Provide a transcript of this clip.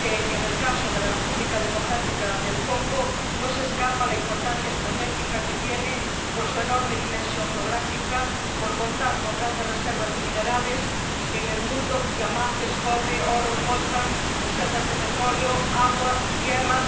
En el caso de la República Democrática del Congo, no se escapa la importancia estratégica que tiene por su enorme dimensión geográfica y por contar con gran parte de las reservas de minerales del mundo —diamantes, cobre, oro, coltan—, reservas de petróleo, agua y tierra.